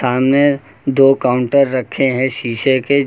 सामने दो काउंटर रखे हैं शीशे के।